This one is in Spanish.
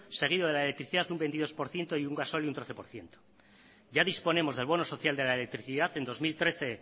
seguido de la electricidad un veintidós por ciento y un gasóleo un trece por ciento ya disponemos del bono social de la electricidad en dos mil trece